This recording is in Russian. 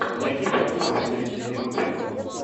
найди фильмуху в стилистике мультфильмы